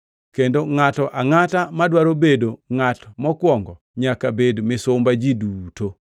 kendo ngʼato angʼata madwaro bedo ngʼat mokwongo nyaka bed misumba ji duto.